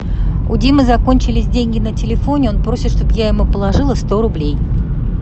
у димы закончились деньги на телефоне он просит чтобы я ему положила сто рублей